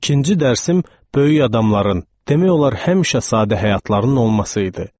İkinci dərsim böyük adamların, demək olar, həmişə sadə həyatlarının olması idi.